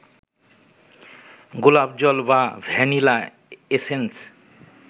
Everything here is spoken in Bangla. গোলাপজল বা ভ্যানিলা এসেন্স